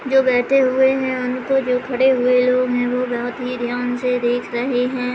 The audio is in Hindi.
जो बैठे हुए हैं उनको जो खड़े हुए लोग हैं वो बहोत ही ध्यान से देख रहे हैं।